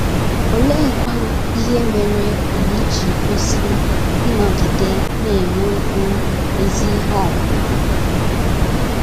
Oleekwa ihe mere anyị ji kwesị ịnọgide na - enwekwu ezi ihe ọmụma?